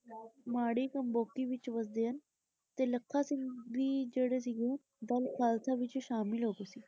. ਮਾੜੀ ਕੰਬੋਕੀ ਵਿਚ ਵਸਦੇ ਹਨ ਤੇ ਲੱਖਾ ਸਿੰਘ ਵੀ ਜਿਹੜੇ ਸੀਗੇ ਦਲ ਖਾਲਸਾ ਵਿਚ ਸ਼ਾਮਿਲ ਹੋ ਗਏ ਸੀ ।